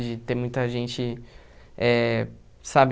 De ter muita gente, é... Sabe?